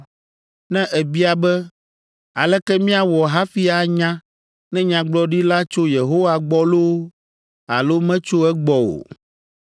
Ne èbia be, “Aleke míawɔ hafi anya ne nyagblɔɖi la tso Yehowa gbɔ loo alo metso egbɔ o?”